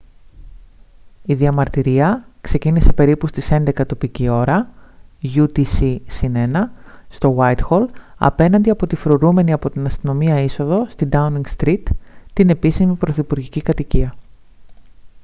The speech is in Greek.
η διαμαρτυρία ξεκίνησε περίπου στις 11:00 τοπική ώρα utc +1 στο γουάιτχολ απέναντι από τη φρουρούμενη από την αστυνομία είσοδο στη ντάουνινγκ στριτ την επίσημη πρωθυπουργική κατοικία